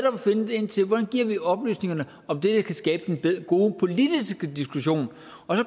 om at finde ind til hvordan vi giver oplysningerne om det der kan skabe den gode politiske diskussion så